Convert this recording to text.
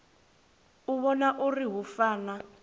u vhona uri hu fana